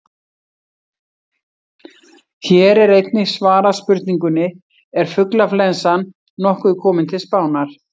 Hér er einnig svarað spurningunni: Er fuglaflensan nokkuð komin til Spánar?